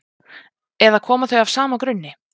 Eða koma þau af sama grunni?